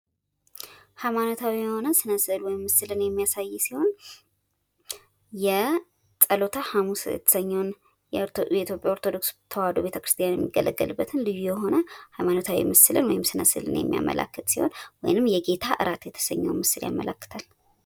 ሃይማኖታዊ የሆነ ስነ ሰእልን ወይም ምስልን የሚያሳይ ሲሆን የጸሎተ ሐሙስ የተሰኘውን የኢትዮጵያ ኦርቶዶክስ ተዋህዶ ቤተክርስቲያን የሚገለገልበትን ልዩ የሆነ ሃይማኖታዊ ምስል ወይም ስነ ስእልን የሚያመላክት ሲሆን ወይንም የጌታ እራት የተሰኘው ምስል ያመላክታል።